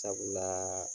Sabula